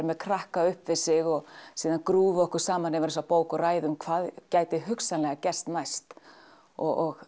með krakka upp við sig og síðan okkur saman yfir þessari bók og ræðum hvað gæti hugsanlega gerst næst og